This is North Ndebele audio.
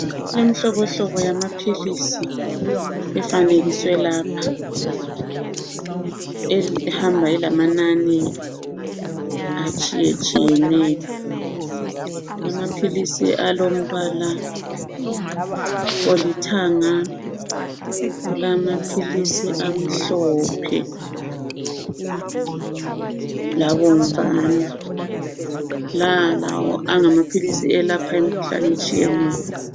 Imihlobohlobo yamaphilisi efanekiswe lapha ehamba ilamanani atshiyetshiyeneyo. Kulamaphilisi alombala olithanga, kulamaphilisi amhlophe labomvana. La lawo angamaphilisi alapha imikhuhlane etshiyeneyo.